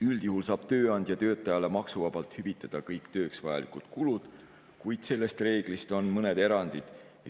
Üldjuhul saab tööandja töötajale maksuvabalt hüvitada kõik tööks vajalikud kulud, kuid sellest reeglist on mõned erandid.